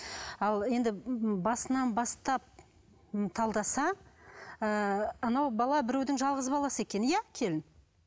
ал енді басынан бастап талдаса ыыы анау бала біреудің жалғыз баласы екен иә келін